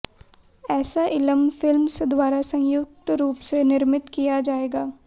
asylum Films द्वारा संयुक्त रूप से निर्मित किया जाएगा